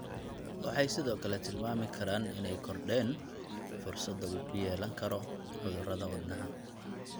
Waxay sidoo kale tilmaami karaan inay kordheen fursadda uu ku yeelan karo cudurrada wadnaha.